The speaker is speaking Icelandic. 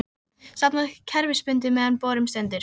safnað kerfisbundið meðan á borun stendur.